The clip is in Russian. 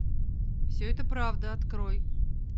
все это правда открой